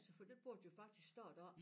Så det burde jo faktisk stå deroppe